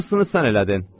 Hamısını sən elədin.